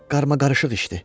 Qarmaqarışıq işdi.